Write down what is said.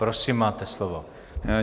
Prosím, máte slovo.